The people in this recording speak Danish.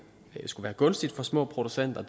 skulle være gunstigt for små producenter og